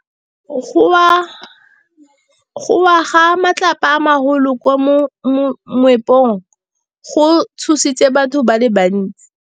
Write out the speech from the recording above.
Go wa ga matlapa a magolo ko moepong go tshositse batho ba le bantsi.